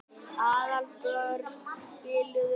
Aðalborg, spilaðu lag.